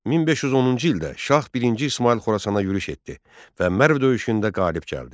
1510-cu ildə Şah birinci İsmayıl Xorasana yürüş etdi və Mərv döyüşündə qalib gəldi.